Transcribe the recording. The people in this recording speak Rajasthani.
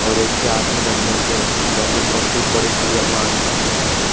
और एक के हाथ मे डंडो छे और वा के ऊपर खूब बड़ी --